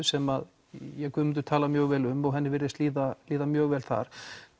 sem Guðmundur talar mjög vel um og henni virðist líða líða mjög vel þar